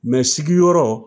sigi yɔrɔ.